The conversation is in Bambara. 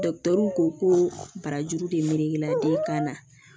ko barajuru de melekela den kan na